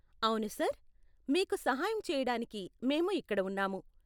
అవును సర్, మీకు సహాయం చెయ్యడానికే మేము ఇక్కడ ఉన్నాము.